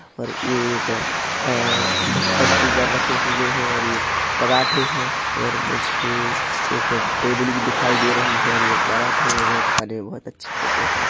पर ये एक ढक्कन के ऊपर रखे हुए है और ये पराठे है और मुझे टेबल भी दिखाई दे रही है और ये पराठे बहोत खाने मे बहोत अच्छे होते है।